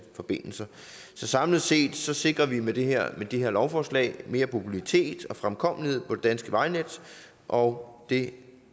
forbindelser så samlet set sikrer vi med det her lovforslag mere mobilitet og fremkommelighed på det danske vejnet og det